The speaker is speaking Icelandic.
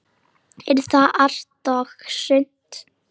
Er það allt og sumt?